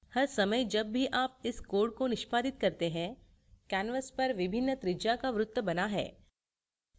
हर समय जब भी आप इस code को निष्पादित करते हैं canvas पर विभिन्न त्रिज्या का वृत्त बना है